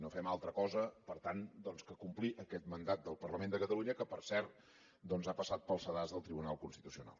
no fem altra cosa per tant doncs que complir aquest mandat del parlament de catalunya que per cert ha passat pel sedàs del tribunal constitucional